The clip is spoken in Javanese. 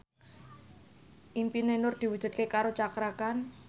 impine Nur diwujudke karo Cakra Khan